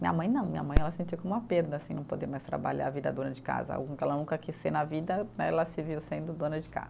Minha mãe não, minha mãe ela sentiu como uma perda, assim, não poder mais trabalhar, virar dona de casa, algo que ela nunca quis ser na vida, ela se viu sendo dona de casa.